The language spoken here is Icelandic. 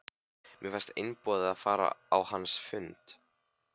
Mér fannst einboðið að fara á hans fund.